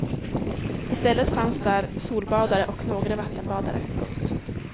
I stället fanns där solbadare och några vattenbadare. punkt